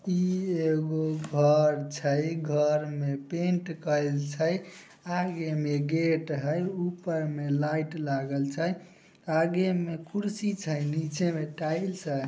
इ एगो घर छई घर में पेंट कएल छई आगे में गेट हेय ऊपर में लाइट लागल छई आगे में कुर्सी छई नीचे में टाइल्स हेय।